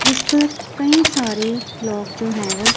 जिस पर कई सारे लोग जो है वो--